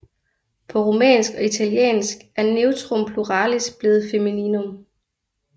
På rumænsk og italiensk er neutrum pluralis blevet femininum